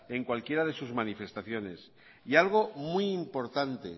en cualquiera de sus manifestaciones y algo muy importante